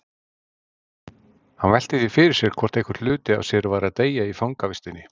Hann velti því fyrir sér hvort einhver hluti af sér væri að deyja í fangavistinni.